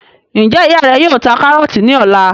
Njẹ ìyá rẹ yóò ta karọọti ní ọ̀la?